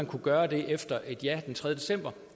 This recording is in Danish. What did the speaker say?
kunne gøre det efter et ja den tredje december